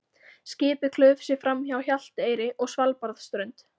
Skipið klauf sig framhjá Hjalteyri og Svalbarðsströnd.